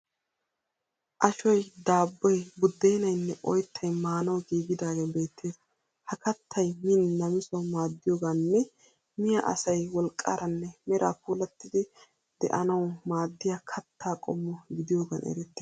Ashoyi, daabboyi, buddeenayinne oyittay maanawu giigidaagee beettees. Ha kattay min namisawu maaddiyogaaninne miya asay wolqqaaranne meraa puulattidi de'anawu maaddiya katta qommo gidiyogaan erettees.